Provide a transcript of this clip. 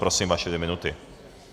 Prosím, vaše dvě minuty.